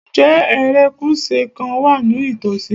Ǹjẹ́ erékùṣù kan wà ní ìtòsí?